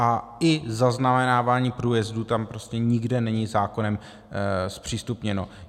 A i zaznamenávání průjezdů tam prostě nikde není zákonem zpřístupněno.